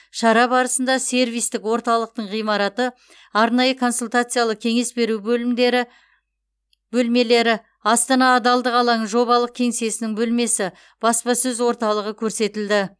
шара барысында сервистік орталықтың ғимараты арнайы консультациялы кеңес беру бөлмелері астана адалдық алаңы жобалық кеңсесінің бөлмесі баспасөз орталығы көрсетілді